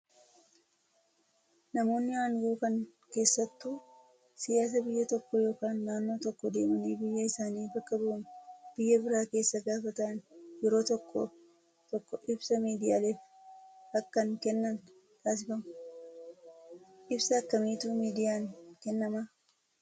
Namoonni aangoo kan keessattuu siyaasa biyya tokkoo yookaan naannoo tokkoo deemanii biyya isaanii bakka bu'uun biyya biraa keessa gaafa taa'an yeroo tokko tokko ibsa miidiyaaleef akkan kennan taasifamu. Ibsa akkamiitu miidiyaan kennamaa?